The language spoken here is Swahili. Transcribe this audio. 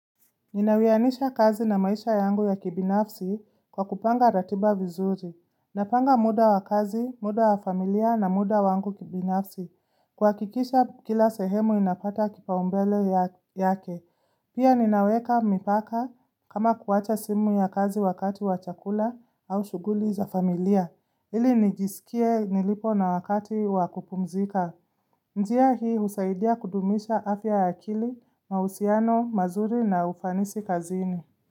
Ninawianisha kazi na maisha yangu ya kibinafsi kwa kupanga ratiba vizuri. Napanga muda wa kazi, muda wa familia na muda wangu kibinafsi. Kuhakikisha kila sehemu inapata kipa umbele yake. Pia ninaweka mipaka kama kuwacha simu ya kazi wakati wa chakula au shughuli za familia. Ili nijisikie nilipo na wakati wa kupumzika. Njia hii usaidia kudumisha afya ya akili, mahusiano, mazuri na ufanisi kazini.